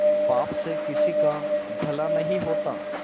पाप से किसी का भला नहीं होता